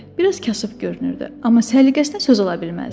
Biraz kasıb görünürdü, amma səliqəsinə söz ala bilməzdik.